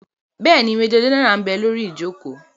Bẹ́ẹ̀ni, majọ gẹ́nẹ́rà ḿ bẹ lórí ìjòkó